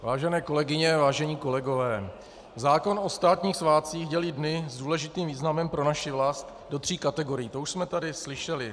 Vážené kolegyně, vážení kolegové, zákon o státních svátcích dělí dny s důležitým významem pro naši vlast do tří kategorií, to už jsme tady slyšeli.